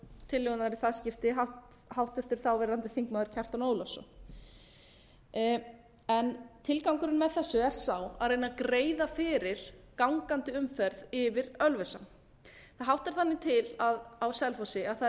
tillögunnar í það skipti háttvirtur þáverandi þingmaður kjartan ólafsson tilgangurinn með þessu er sá að reyna að greiða fyrir gangandi umferð yfir ölfusá það háttar þannig til á selfossi að það er